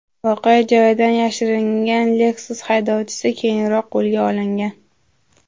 Voqea joyidan yashiringan Lexus haydovchisi keyinroq qo‘lga olingan.